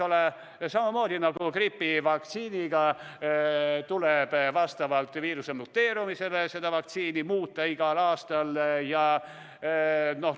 Ja samamoodi nagu gripivaktsiini tuleb ka seda vastavalt viiruse muteerumisele igal aastal muuta.